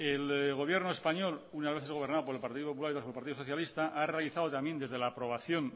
el gobierno español unas veces gobernada por el partido popular y otras por el partido socialista ha realizado también desde la aprobación